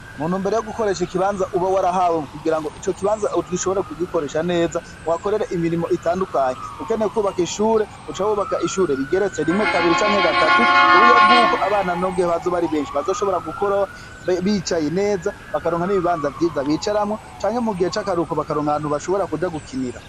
Mu ntumbero yo gukoresha ikibanza uba warahawe kugira ngo ico kibanza ugishobore kugikoresha neza, uhakorere imirimo itandukanye. Ukeneye kwubaka ishure, uca wubaka ishure rigeretse rimwe, kabiri canke gatatu, ku buryo bw'uko abana n'igihe bazoba ari benshi bazoshobora gukora bicaye neza, bakaronka n'ibibanza vyiza bicaramwo, canke mu gihe c'akaruhuko bakaronka ahantu bashora kuja gukinira.